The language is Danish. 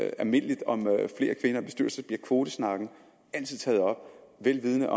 almindeligt om flere kvinder i bestyrelser bliver kvotesnakken taget op vel vidende